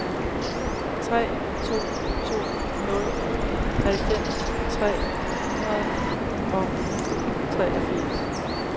tre to to nul halvfems tre hundrede og treogfirs